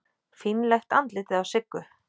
Fínlegt andlitið á Siggu.